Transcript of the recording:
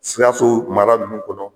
Sikaso mara ninnu kɔnɔ